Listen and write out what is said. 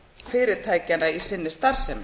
fyrirtækjanna í sinni starfsemi